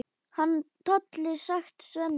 Hann Tolli, sagði Svenni.